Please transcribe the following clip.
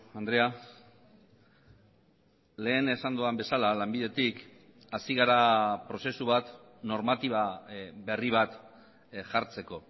andrea lehen esan dudan bezala lanbidetik hasi gara prozesu bat normatiba berri bat jartzeko